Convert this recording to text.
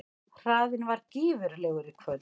Hraðinn var gífurlegur í kvöld